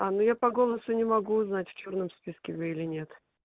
а ну я по голосу не могу узнать в чёрном списке вы или нет